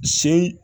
Se